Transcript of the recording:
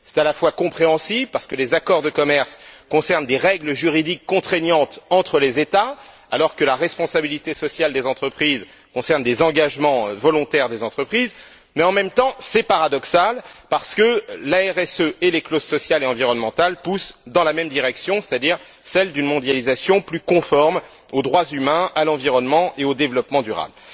C'est à la fois compréhensible, parce que les accords de commerce concernent des règles juridiques contraignantes entre les États alors que la responsabilité sociale des entreprises concerne des engagements volontaires des entreprises, mais en même temps, c'est paradoxal, parce que la RSE et les clauses sociales et environnementales poussent dans la même direction, c'est à dire celle d'une mondialisation plus conforme aux droits humains, à l'environnement et au développement durable.